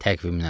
Təqvimdən.